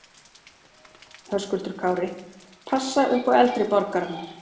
Höskuldur Kári: Passa upp á eldri borgarana?